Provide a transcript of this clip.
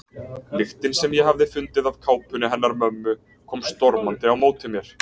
Lyktin sem ég hafði fundið af kápunni hennar mömmu kom stormandi á móti mér.